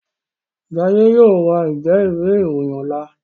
Jaiye yóò rá Njé Ìwé-ìròyìn ọlá.